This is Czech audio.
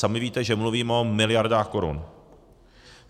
Sami víte, že mluvím o miliardách korun.